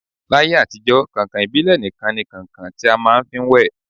L'ayé àtijọ́, kàǹkàn ìbílẹ̀ nikan ni kàǹkàn ti a máà ń fi wẹ̀